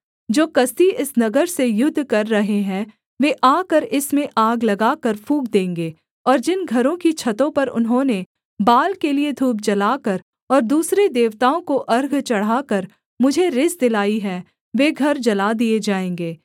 जो कसदी इस नगर से युद्ध कर रहे हैं वे आकर इसमें आग लगाकर फूँक देंगे और जिन घरों की छतों पर उन्होंने बाल के लिये धूप जलाकर और दूसरे देवताओं को अर्घ चढ़ाकर मुझे रिस दिलाई है वे घर जला दिए जाएँगे